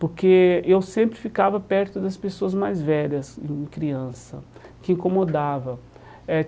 Porque eu sempre ficava perto das pessoas mais velhas, quando criança, o que incomodava eh.